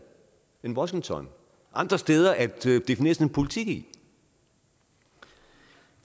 end washington andre steder at definere sin politik i det